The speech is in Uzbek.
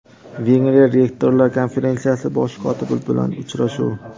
Vengriya rektorlar Konferensiyasi bosh kotibi bilan uchrashuv.